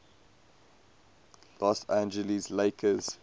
los angeles lakers